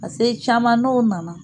Ka se caman n'o nana